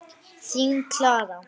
Þín Klara.